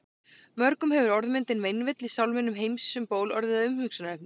Mörgum hefur orðmyndin meinvill í sálminum Heims um ból orðið að umhugsunarefni.